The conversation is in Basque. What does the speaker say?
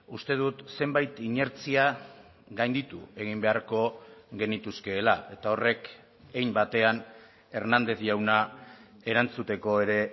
uste dut zenbait inertzia gainditu egin beharko genituzkeela eta horrek hein batean hernández jauna erantzuteko ere